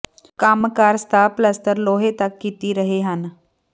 ਕੰਮ ਕਰ ਸਤਹ ਪਲੱਸਤਰ ਲੋਹੇ ਤੱਕ ਕੀਤੀ ਰਹੇ ਹਨ